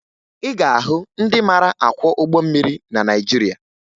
Ị ga-ahụ ndị mara akwọ ụgbọ mmiri na Naịjirịa